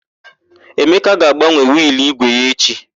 Emeka ga-agbanwe wịịlụ ígwè ya echi.